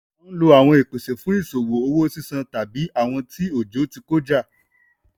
a ń lò àwọn ìpèsè fún ìṣòwò owó sísan tàbí àwọn tí ọjọ́ ti kọjá.